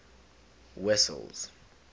wessels